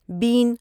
بین